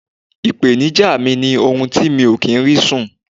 ipenija mi ni orun tí mi o ri sun